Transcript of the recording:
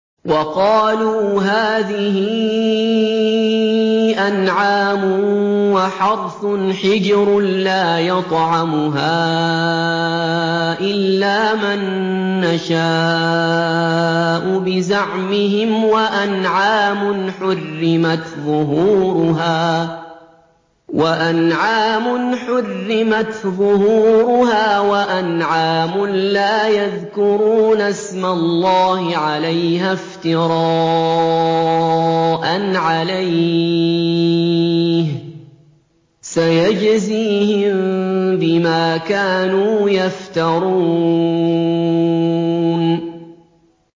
وَقَالُوا هَٰذِهِ أَنْعَامٌ وَحَرْثٌ حِجْرٌ لَّا يَطْعَمُهَا إِلَّا مَن نَّشَاءُ بِزَعْمِهِمْ وَأَنْعَامٌ حُرِّمَتْ ظُهُورُهَا وَأَنْعَامٌ لَّا يَذْكُرُونَ اسْمَ اللَّهِ عَلَيْهَا افْتِرَاءً عَلَيْهِ ۚ سَيَجْزِيهِم بِمَا كَانُوا يَفْتَرُونَ